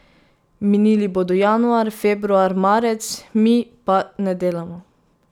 Minili bodo januar, februar, marec, mi pa ne delamo.